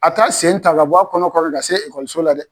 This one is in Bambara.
A t'a sen ta ka bɔ a kɔnɔ kɔrɔ ka se ekɔliso la dɛ